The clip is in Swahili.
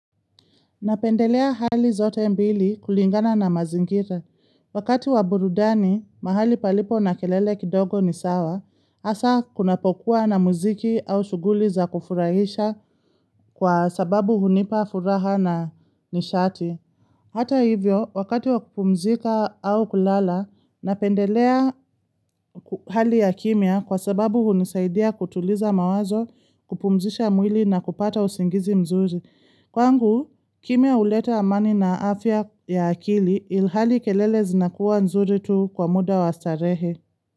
Napendelea hali zote mbili kulingana na mazingira. Wakati wa burudani, mahali palipo na kelele kidogo ni sawa, hasa kuna pokuwa na muziki au shughuli za kufurahisha kwa sababu hunipa furaha na nishati. Hata hivyo, wakati wa kupumzika au kulala, napendelea hali ya kimya kwa sababu hunisaidia kutuliza mawazo kupumzisha mwili na kupata usingizi mzuri. Kwangu, kimya huleta amani na afya ya akili ilhali kelele zinakuwa nzuri tu kwa muda wa starehe.